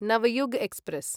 Navyug express